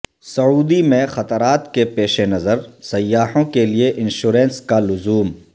سعودی میں خطرات کے پیش نظر سیاحوں کیلئے انشورنس کا لزوم